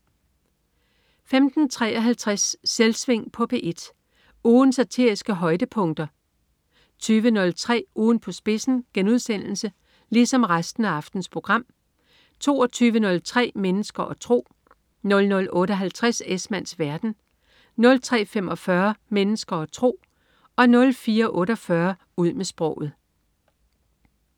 15.53 Selvsving på P1. Ugens satiriske højdepunkter 20.03 Ugen på spidsen* 22.03 Mennesker og tro* 00.58 Esmanns verden* 03.45 Mennesker og tro* 04.48 Ud med sproget*